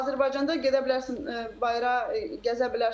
Azərbaycanda gedə bilərsən bayıra, gəzə bilərsən.